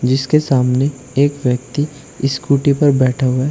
जिसके सामने एक व्यक्ति स्कूटी पर बैठा हुआ है।